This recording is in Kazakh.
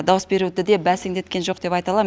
дауыс беруді де бәсеңдеткен жоқ деп айта алам